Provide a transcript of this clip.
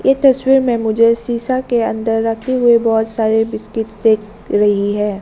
तस्वीर में मुझे शीशा के अंदर रखे हुए बहोत सारे बिस्किट देख रही है।